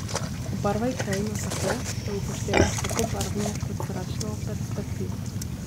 Obarvaj krajino tako, da upoštevaš tako barvno kot zračno perspektivo.